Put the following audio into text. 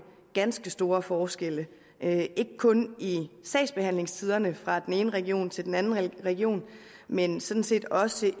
ganske store forskelle ikke kun i sagsbehandlingstiderne fra den ene region til den anden region men sådan set også